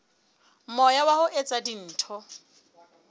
moya wa ho etsa dintho